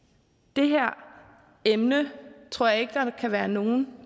det her emne tror jeg ikke at der kan være nogen